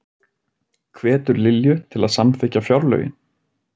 Hvetur Lilju til að samþykkja fjárlögin